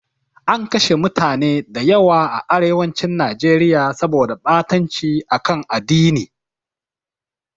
An kashe mutane da yawa a arewacin Najeriya saboda ɓatanci a kan addini.